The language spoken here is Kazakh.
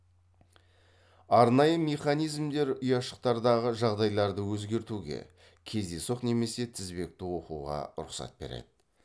арнайы механизмдер ұяшықтардағы жағдайларды өзгертуге кездейсоқ немесе тізбекті оқуға рұқсат береді